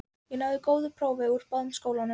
Ég náði góðu prófi úr báðum skólum.